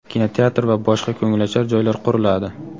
kinoteatr va boshqa ko‘ngilochar joylar quriladi.